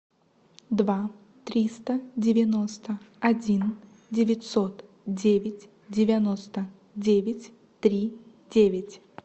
два триста девяносто один девятьсот девять девяносто девять три девять